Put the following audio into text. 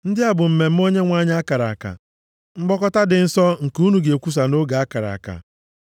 “ ‘Ndị a bụ mmemme Onyenwe anyị a kara aka, mkpọkọta dị nsọ nke unu ga-ekwusa nʼoge a kara aka.